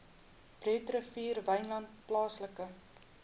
breederivier wynland plaaslike